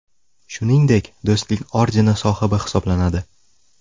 Shuningdek, Do‘stlik ordeni sohibi hisoblanadi.